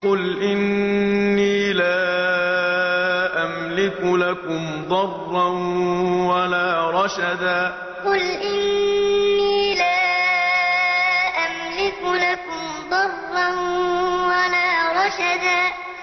قُلْ إِنِّي لَا أَمْلِكُ لَكُمْ ضَرًّا وَلَا رَشَدًا قُلْ إِنِّي لَا أَمْلِكُ لَكُمْ ضَرًّا وَلَا رَشَدًا